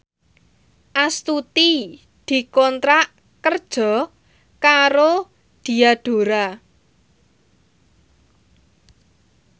Astuti dikontrak kerja karo Diadora